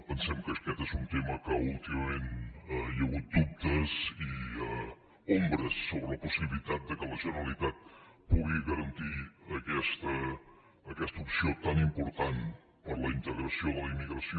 pensem que aquest és un tema en què últimament hi ha hagut dubtes i ombres sobre la possibilitat que la generalitat pugui garantir aquesta opció tan important per a la integració de la immigració